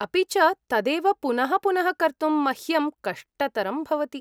अपि च तदेव पुनः पुनः कर्तुं मह्यम् कष्टतरं भवति।